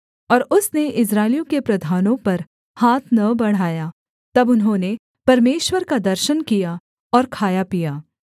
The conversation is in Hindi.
और उसने इस्राएलियों के प्रधानों पर हाथ न बढ़ाया तब उन्होंने परमेश्वर का दर्शन किया और खाया पिया